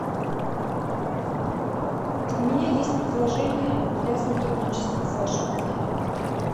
у меня есть предложение для сотрудничества с вашим отелем